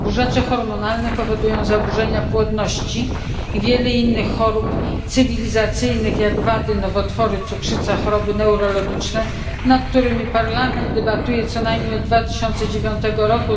Zaburzacze hormonalne powodują zaburzenia płodności i wiele innych chorób cywilizacyjnych jak wady, nowotwory, cukrzyca, choroby neurologiczne, nad którymi Parlament debatuje co najmniej od 2009 r.